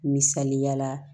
Misaliya la